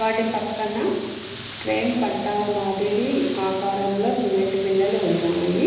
వాటి పక్కన ట్రైన్ పట్టాల మాదిరి ఆకారంలో సిమెంట్ బిల్లలు ఉన్నాయి.